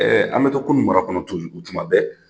an mɛ to kunnu mara kɔnɔ tuma bɛ